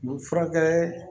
U bɛ furakɛ